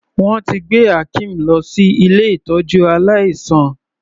Wọ́n ti gbé Akeem lọ sí ilé ìtọ́jú aláìsàn.